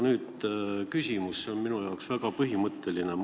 Nüüd küsimus, mis on minu jaoks väga põhimõtteline.